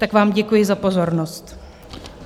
Tak vám děkuji za pozornost.